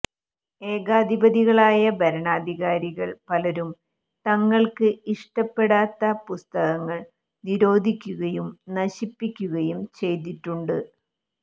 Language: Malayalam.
ഏകാധിപതികളായ ഭരണാധികാരികൾ പലരും തങ്ങൾക്ക് ഇഷ്ട്ടപ്പെടാത്ത പുസ്തകങ്ങൾ നിരോധിക്കുകയും നശിപ്പിക്കുകയും ചെയ്തിട്ടുണ്ട്